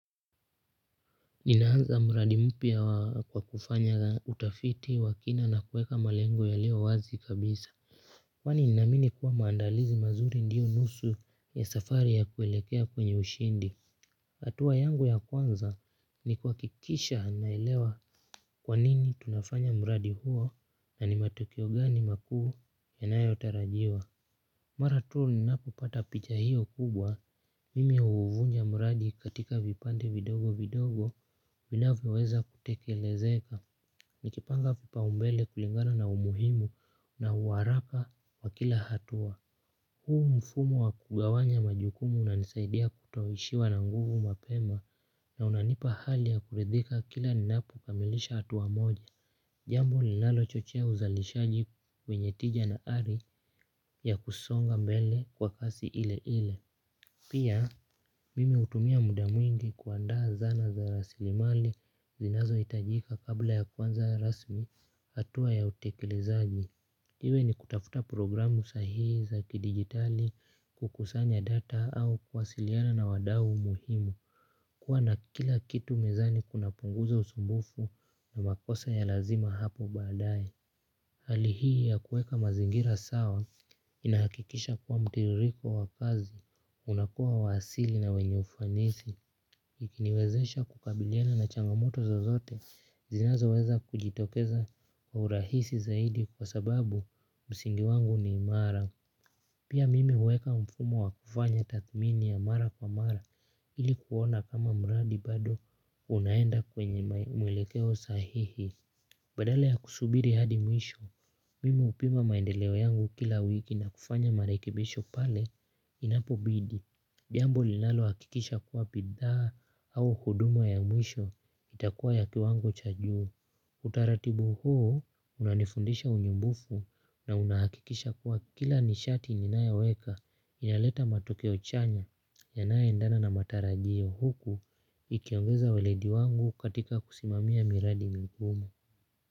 Ninaanza mradi mpya kwa kufanya utafiti wakina na kuweka malengo yalio wazi kabisa. Kwani ninamini kuwa maandalizi mazuri ndiyo nusu ya safari ya kuelekea kwenye ushindi hatua yangu ya kwanza ni kuhakikisha naelewa kwanini tunafanya mradi huo na ni matokeo gani makuu yanayo tarajiwa. Mara tuu ninapo pata picha hiyo kubwa, mimi huvunja mradi katika vipande vidogo vidogo, vinavyo weza kutekelezeka, nikipanga vipa umbele kulingana na umuhimu na uwaraka wa kila hatua. Huu mfumo wa kugawanya majukumu una nisaidia kuto ishiwa na nguvu mapema na unanipa hali ya kuridhika kila ninapo kamilisha atua moja. Jambo linalo chochea uzalishaji wenye tija na hari ya kusonga mbele kwa kasi ile ile. Pia mimi hutumia muda mwingi kuandaa zana za rasilimali zinazo hitajika kabla ya kuanza rasmi hatua ya utekelezaji. Iwe ni kutafuta programu sahihi za kidigitali kukusanya data au kuwasiliana na wadau muhimu. Kuwa na kila kitu mezani kuna punguza usumbufu na makosa ya lazima hapo baadae. Hali hii ya kuweka mazingira sawa inahakikisha kuwa mtiririko wa kazi, unakua wa asili na wenye ufanisi. Ikiniwezesha kukabiliana na changamoto zo zote zinazo weza kujitokeza urahisi zaidi kwa sababu msingi wangu ni imara. Pia mimi huweka mfumo wa kufanya tathmini ya mara kwa mara ili kuona kama mradi bado unaenda kwenye muelekeo sahihi. Badala ya kusubiri hadi mwisho, mimi hupima maendeleo yangu kila wiki na kufanya marekibisho pale inapo bidi jambo linalo hakikisha kuwa bidhaa au huduma ya mwisho itakuwa ya kiwango chajuu. Utaratibu huo unanifundisha unyumbufu na unahakikisha kuwa kila nishati ninayo weka inaleta matokeo chanya yanayo endana na matarajio huku ikiongeza weledi wangu katika kusimamia miradi migumu.